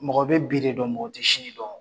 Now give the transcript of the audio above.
Mɔgɔ bɛ bi de dɔn, mɔgɔ tɛ sini dɔn!